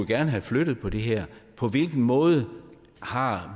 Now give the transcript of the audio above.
gerne have flyttet på det her på hvilken måde har